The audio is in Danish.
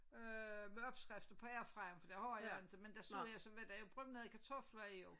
Øh med opskrifter på airfryeren for det har jeg inte men der så jeg så var der jo brunede kartofler jo